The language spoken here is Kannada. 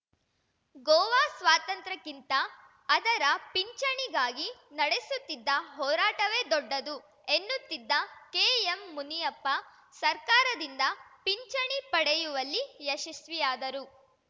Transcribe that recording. ಗೋವಾ ಸ್ವಾತಂತ್ರ್ಯಕ್ಕಿಂತ ಅದರ ಪಿಂಚಣಿಗಾಗಿ ನಡೆಸುತ್ತಿದ್ದ ಹೋರಾಟವೇ ದೊಡ್ಡದು ಎನ್ನುತ್ತಿದ್ದ ಕೆಎಂಮುನಿಯಪ್ಪ ಸರ್ಕಾರದಿಂದ ಪಿಂಚಣಿ ಪಡೆಯುವಲ್ಲಿ ಯಶಸ್ವಿಯಾದರು